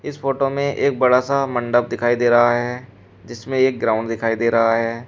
इस फोटो में एक बड़ा सा मंडप दिखाई दे रहा है जिसमें एक ग्राउंड दिखाई दे रहा है।